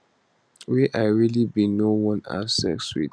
wey i really bin no wan have sex with